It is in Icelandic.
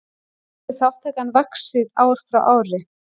Hefur þátttakan vaxið ár frá ári